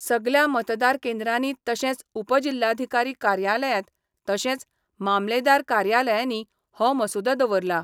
सगल्या मतदार केंद्रांनी तशेंच उपजिल्हाधीकारी कार्यालयांत तशेंच मामलेदार कार्यालयानी हो मसुदो दवरला.